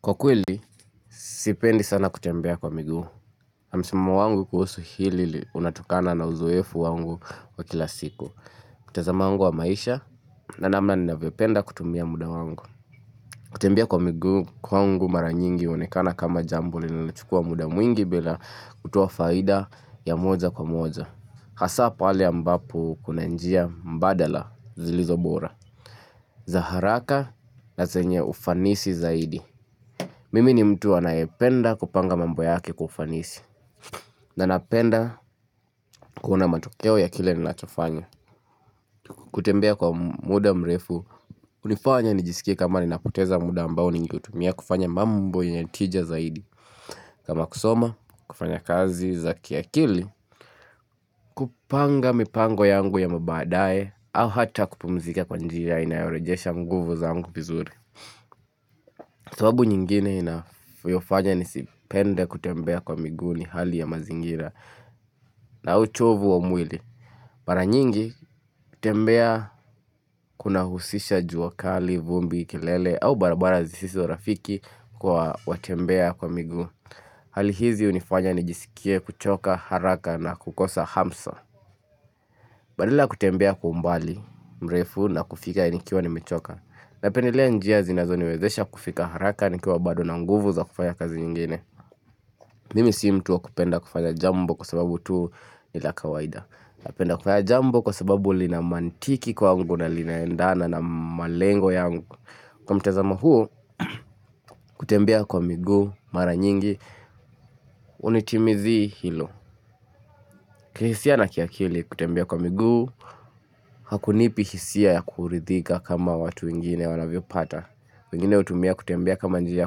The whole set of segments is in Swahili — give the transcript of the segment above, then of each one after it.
Kwa kweli, sipendi sana kutembea kwa miguu. Msimamo wangu kuhusu hili unatokana na uzoefu wangu wa kila siku. Mtazami wangu wa maisha na namna ninavyopenda kutumia muda wangu. Kutembea kwa miguu kwangu mara nyingi huonekana kama jambo linalochukua muda mwingi bila kutoa faida ya moja kwa moja. Hasa pale ambapo kuna njia mbadala zilizobora. Za haraka na zenye ufanisi zaidi. Mimi ni mtu anayependa kupanga mambo yake kwa ufanisi. Na napenda kuona matokeo ya kile ninachofanya. Kutembea kwa muda mrefu. Hunifanya nijisikie kama ninapoteza muda ambao ningeutumia kufanya mambo yenye tija zaidi. Kama kusoma, kufanya kazi za kiakili. Kupanga mipango yangu ya mabaadae au hata kupumzika kwa njia inayorejesha nguvu zangu vizuri. Sababu nyingine inayofanya nisipende kutembea kwa miguu ni hali ya mazingira na uchovu wa mwili. Mara nyingi kutembea kunahusisha jua kali, vumbi, kelele au barabara zisiso rafiki kwa watembea kwa miguu. Hali hizi hunifanya nijisikie kuchoka haraka na kukosa hamsa. Badala kutembea kwa umbali mrefu na kufika nikiwa nimechoka. Napendelea njia zinazo niwezesha kufika haraka nikiwa bado na nguvu za kufanya kazi zingine Mimi si mtu wa kupenda kufanya jambo kwa sababu tu ni la kawaida Napenda kufanya jambo kwa sababu lina mantiki kwangu na linaendana na malengo yangu Kwa mtazamo huo kutembea kwa miguu, mara nyingi, hunitimizii hilo kihisia na kiakili kutembea kwa miguu, hakunipi hisia ya kuridhika kama watu wengine wanavyopata wengine hutumia kutembea kama njia ya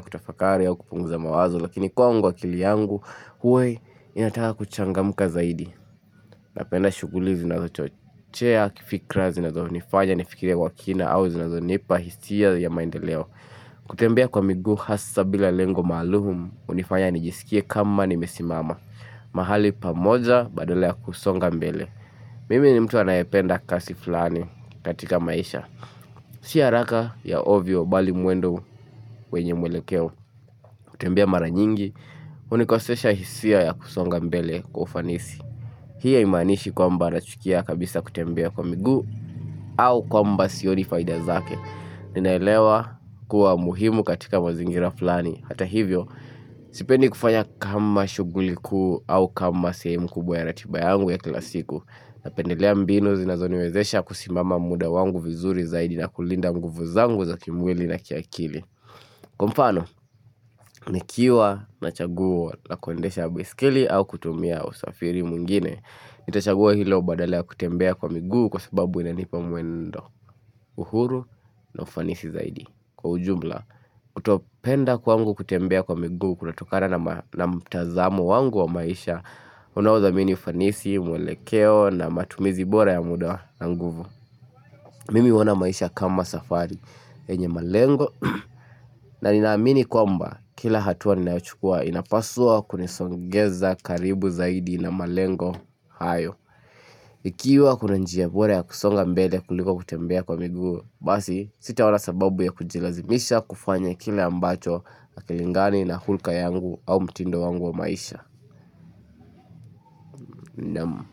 kutafakari au kupunguza mawazo lakini kwangu akili yangu huwa inataka kuchangamka zaidi Napenda shughuli zinazochochea kifikra zinazonifanya nifikirie kwa kina au zinazonipa hisia ya maendeleo kutembea kwa miguu hasa bila lengo maalum hunifanya nijisikie kama nimesimama mahali pamoja badala ya kusonga mbele Mimi ni mtu anayependa kasi flani katika maisha Si haraka ya ovyo bali mwendo wenye mwelekeo kutembea mara nyingi, hunikosesha hisia ya kusonga mbele kwa ufanisi. Hii haimanishi kwamba nachukia kabisa kutembea kwa miguu au kwamba sioni faida zake. Ninaelewa kuwa muhimu katika mazingira flani. Hata hivyo, sipendi kufanya kama shughuli kuu au kama sehemu kubwa ya ratiba yangu ya kila siku. Napendelea mbinu zinazoniwezesha kusimama muda wangu vizuri zaidi na kulinda nguvu zangu za kimwili na kiakili Kwa mfano, nikiwa na chaguo la kuendesha baiskeli au kutumia usafiri mwingine Nitachagua hilo badala ya kutembea kwa miguu kwa sababu inanipa mwendo uhuru na ufanisi zaidi Kwa ujumla, kutopenda kwangu kutembea kwa miguu kunatokana na mtazamo wangu wa maisha Unathamini ufanisi, mwelekeo na matumizi bora ya muda na nguvu Mimi huona maisha kama safari, yenye malengo na ninaamini kwamba kila hatua ninayochukua inapaswa kunisongeza karibu zaidi na malengo hayo Ikiwa kuna njia bora ya kusonga mbele kuliko kutembea kwa miguu Basi sitawa na sababu ya kujilazimisha kufanya kile ambacho hakilingani na hulka yangu au mtindo wangu wa maisha naam.